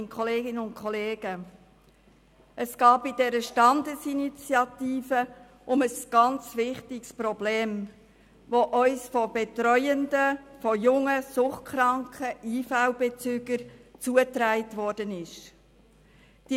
Bei dieser Standesinitiative geht es um ein sehr wichtiges Problem, das uns durch Betreuende von jungen suchtkranken Leistungsbezügern der Invalidenversicherung (IV) zugetragen wurde.